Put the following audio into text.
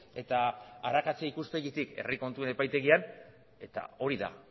eta arakatzea ikuspegitik herri kontuen epaitegian eta hori da